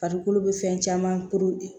Farikolo bɛ fɛn caman koron de